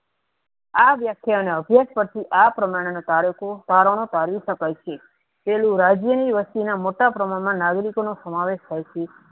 આ વ્યાખ્યા નો અભ્યાસ પછી આ પ્રમાણા ના કારકો કરવાના કરી સકાય છે પેલું રાજ્ય ની વસ્તુ ના મોટા પ્રમાણ મા નાગરિકો નુ સમાવેશ થાય છે.